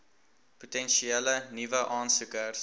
potensiële nuwe aansoekers